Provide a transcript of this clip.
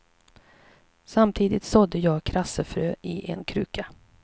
Samtidigt sådde jag krassefrön i en kruka.